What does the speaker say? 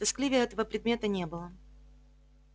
тоскливее этого предмета не было